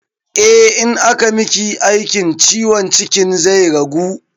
Eh, in aka miki aikin ciwon cikin zai ragu